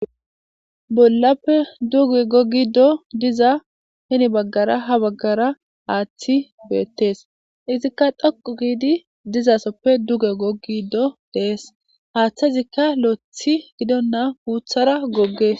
Bollappe duge gogido diza hen bagara hani bagara hathi bettes ettika dhoqu gidi diyosoppe duge gogidi dees. Hathezika lo'ithi gidonta lodara goges.